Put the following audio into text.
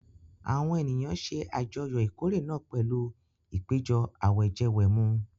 Àwọn ènìyàn ṣe àjọyọ̀ ìkórè náà pẹ̀lú ìpéjọ àwẹ̀jẹwẹ̀mu.